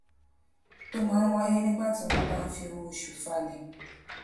tó máa ń wáyé nígbà tí wón bá ń fi owó oṣù falè